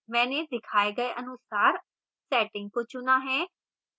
मैंने दिखाए गए अनुसार settings को चुना है